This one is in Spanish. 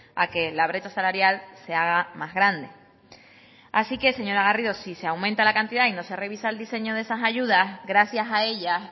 a que la brecha salarial se haga más grande así que señora garrido si se aumenta la cantidad y no se revisa el diseño de esas ayudas gracias a ellas